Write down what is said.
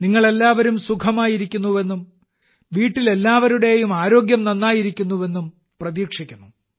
നിങ്ങൾ എല്ലാവരും സുഖമായിരിക്കുന്നുവെന്നും വീട്ടിൽ എല്ലാവരുടെയും ആരോഗ്യം നന്നായിരിക്കുന്നുവെന്നും പ്രതീക്ഷിക്കുന്നു